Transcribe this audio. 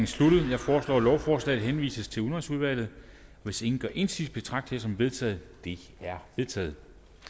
sluttet jeg foreslår at lovforslaget henvises til udenrigsudvalget hvis ingen gør indsigelse betragter som vedtaget det er vedtaget